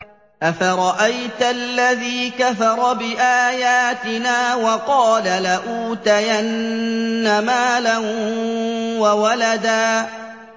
أَفَرَأَيْتَ الَّذِي كَفَرَ بِآيَاتِنَا وَقَالَ لَأُوتَيَنَّ مَالًا وَوَلَدًا